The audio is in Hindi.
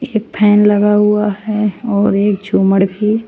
एक फैन लगा हुआ है और एक झूमड़ भी।